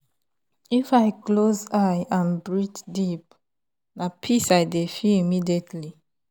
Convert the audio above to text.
if i close eye and breathe deep na peace i dey feel immediately.